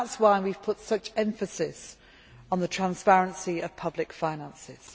That is why we have laid such emphasis on the transparency of public finances.